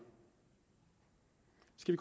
skal